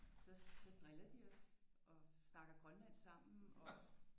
Så driller de os og snakker grønlandsk sammen og